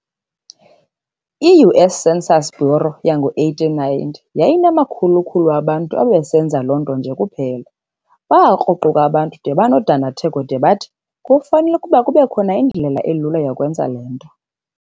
I-U.S. Census Bureau yango-1890 yayinamakhulu-khulu abantu ababesenza loo nto nje kuphela. Baakruquka abantu de banodandatheko, de bathi, "Kufanel'ukuba kubekho indlela elula yokwenza le nto."